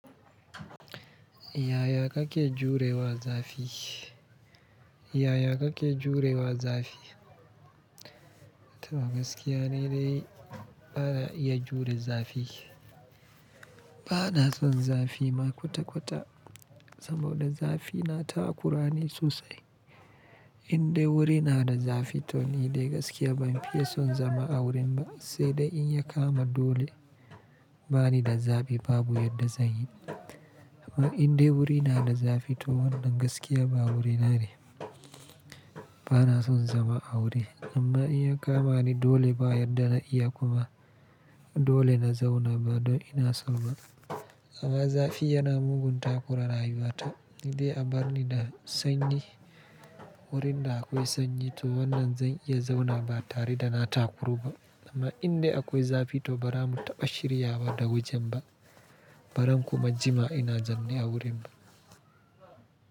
Yaya kake jure wa zafi? Yaya ka ke jure wa zafi? Toh gaskiya ni dai ba na iya jure zafi. Ba na son zafi ma kwata-kwata saboda zafi na takurani sosai. In dai wuri na da zafi to ni dai gaskiya ban fiya son zama a wurin ba, sai dai in ya kama dole bani da zabi babu yadda zan yi. Amma in dai wuri na da zafi to wannan gaskiya ba wurin na ne. Ba na son zama a wuri, amma in ya kama ni dole ba yadda na iya kuma dole na zauna ba don ina so ba. Amma zafi yana mugunta kura rayuwa ta ni de a bar ni da sanyi, wurin da akwai sanyi to wannan zan iya zauna ba tare da na takuru ba. Amma in dai akwai zafi to ba ra mu taba shiryawa da wajen ba. Ba zan kuma jima ina zanne a wurin ba.